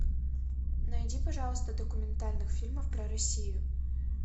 найди пожалуйста документальных фильмов про россию